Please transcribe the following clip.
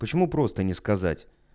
почему просто не сказать